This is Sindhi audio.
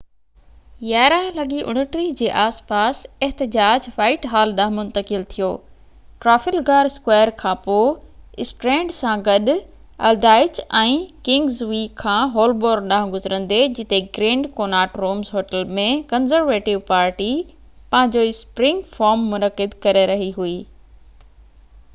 11:29 جي آس پاس احتجاج وائٽ هال ڏانهن منتقل ٿيو ٽرافلگار اسڪوائر کانپوءِ اسٽرينڊ سان گڏ الڊائچ ۽ ڪنگز وي کان هولبورن ڏانهن گذرندي جتي Grand Connaught Rooms hotel ۾ Conservative Party پنهنجو اسپرنگ فورم منعقد ڪري رهي هئي